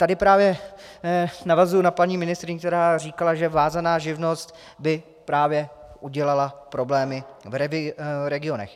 Tady právě navazuji na paní ministryni, která říkala, že vázaná živnost by právě udělala problémy v regionech.